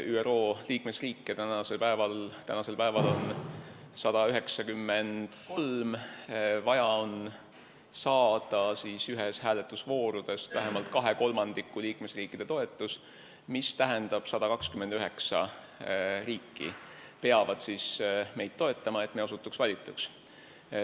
ÜRO liikmesriike on tänasel päeval 193 ja ühes hääletusvoorudest on vaja saada vähemalt kahe kolmandiku liikmesriikide toetus, st 129 riiki peavad meid toetama, et me osutuks valituks.